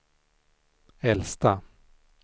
äldsta